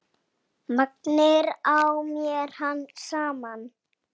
Maginn á mér herpist saman.